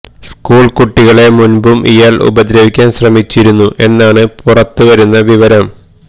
school കുട്ടികളെ മുൻപും ഇയാൾ ഉപദ്രവിക്കാൻ ശ്രമിച്ചിരുന്നു എന്നാണ് പുറത്ത് വരുന്ന വിവരം